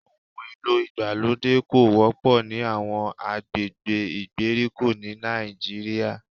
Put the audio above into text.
Ohùn èlò ìgbàlódé kò wọ́pọ̀ ní àwọn agbègbè ìgbèríko ní Nàìjíríà